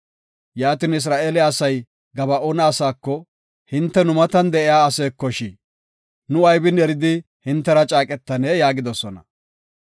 Yaatin, Isra7eele asay Gaba7oone asaako, “Hinte nu matan de7iya asaakosh? Nu aybin eridi hintera caaqetanee?” yaagidosona.